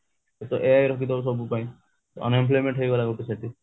ସେ ତ ai ରଖିଡବା ସବୁ ପାଇଁ ତ unemployment ହେଇଗଲା ଗୋଟେ